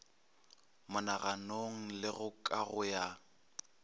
monaganong le go kago ya